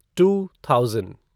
two thousand